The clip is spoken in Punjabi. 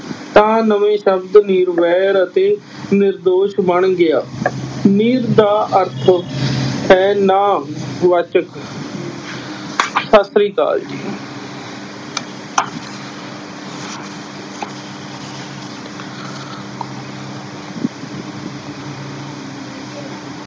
ਤਾਂ ਨਵੇਂ ਸ਼ਬਦ ਨਿਰਵੈਰ ਅਤੇ ਨਿਰਦੋਸ਼ ਬਣ ਗਿਆ ਨਿਰ ਦਾ ਅਰਥ ਹੈ ਨਾਂਹ ਵਾਚਕ ਸਤਿ ਸ੍ਰੀ ਅਕਾਲ ਜੀ।